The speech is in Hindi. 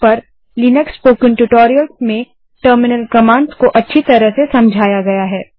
wwwspokentutorialorg पर लिनक्स स्पोकन ट्यूटोरियल्स में टर्मिनल कमांड्स को अच्छी तरह से समझाया गया है